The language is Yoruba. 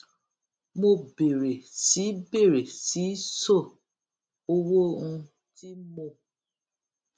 mo bèrè sí í bèrè sí í ṣó owó um tí mò